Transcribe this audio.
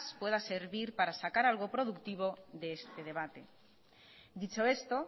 pueda servir para sacar algo productivo de este debate dicho esto